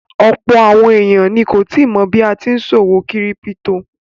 Ọ̀pọ̀ àwọn èèyàn ni kò tíì mọ̀ bí a tí n ṣòwò kírípítò